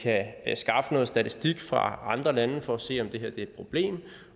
at skaffe noget statistik fra andre lande for at se om det her er et problem